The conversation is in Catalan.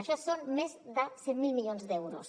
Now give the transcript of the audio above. això són més de cent miler milions d’euros